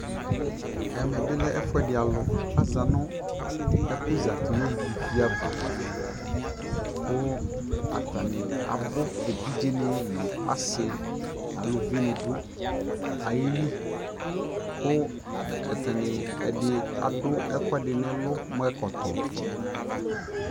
ɛmɛ bi lɛ ɛƒʋɛdi alʋ, aza nʋ ɛkʋ zati nʋ ivi aɣa kʋ atani abʋ, ɛvidzɛ ni nʋ asii nʋ alʋvi ni dʋ ayili kʋ atani ɛdi adʋ ɛkʋɛdi nʋ ɛlʋ mʋ ɛkɔtɔ